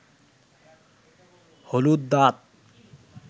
হলুদ দাঁত